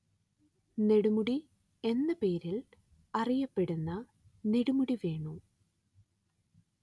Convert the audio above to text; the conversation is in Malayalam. നെടുമുടി എന്ന പേരിൽ അറിയപ്പെടുന്ന നെടുമുടി വേണു